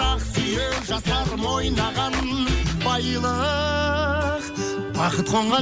ақ сүйек жастарым ойнаған байлық бақыт қонған